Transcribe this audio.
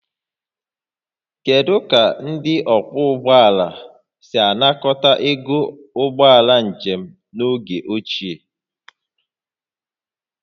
Kedu ka ndị ọkwọ ụgbọala si anakọta ego ụgbọ njem n'oge ochie?